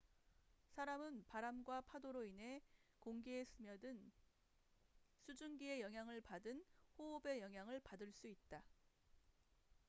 사람은 바람과 파도로 인해 공기에 스며든 수증기의 영향을 받은 호흡의 영향을 받을 수 있다